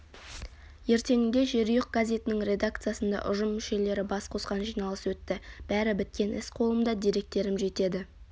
ертеңінде жерұйық газетінің редакциясында ұжым мүшелері бас қосқан жиналыс өтті бәрі біткен іс қолымда деректерім жетеді